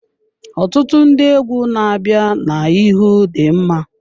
Ọtụtụ ndị egwu na-abịa n'ihu dị mma.